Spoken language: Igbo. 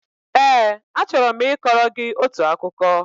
Ee, achọrọ m ịkọrọ gị otu akụkọ